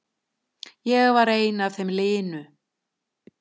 Ég var einn af þeim linu.